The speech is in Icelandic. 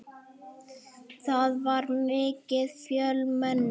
Það var mikið fjölmenni.